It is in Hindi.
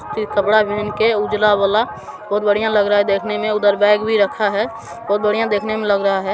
कपडा पहन के उजाला वाला बोहोत बढ़िया लग रहा हैं देखने मैं उधर बैग भी रखा हैं बोहोत बढ़िया दिखने मैं लग रहा हैं।